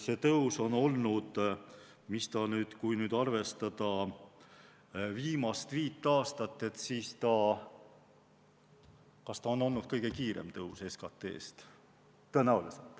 See tõus on olnud – kui nüüd arvestada viimast viit aastat – tõenäoliselt kõige kiirem tõus.